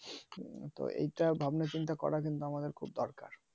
তো এটা ভাবনা চিন্তা করা কিন্তু আমাদের খুব দরকার